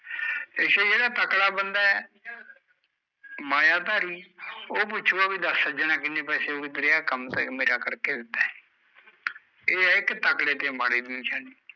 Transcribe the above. ਅੱਛਾ ਜਿਹੜਾ ਤਕੜਾ ਬੰਦਾ ਐ ਮਾਇਆਧਾਰੀ ਉਹ ਪੁੱਛੂਗਾ ਬਈ ਦੱਸ ਸੱਜਣਾ ਕਿੰਨੇ ਪੈਸੇ ਹੋਗੇ ਤੇਰੇ, ਜਿਹੜਾ ਕੰਮ ਤੈ ਮੇਰਾ ਕਰਕੇ ਦਿੱਤਾ ਐ ਇਹ ਐ ਇੱਕ ਤਕੜੇ ਤੇ ਮਾੜੇ ਦੀ ਨਿਸ਼ਾਨੀ।